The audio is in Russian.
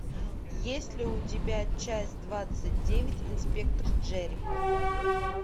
есть ли у тебя часть двадцать девять инспектор джерико